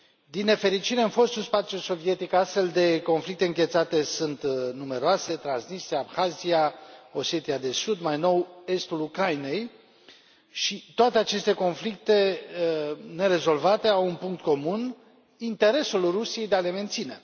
Din nefericire, în fostul spațiu sovietic, astfel de conflicte înghețate sunt numeroase Transnistria, Abhazia, Osetia de Sud, mai nou estul Ucrainei și toate aceste conflicte nerezolvate au un punct comun interesul Rusiei de a le menține.